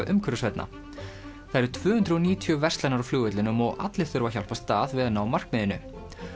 umhverfisvænna það eru tvö hundruð og níutíu verslanir á flugvellinum og allir þurfa að hjálpast að við að ná markmiðinu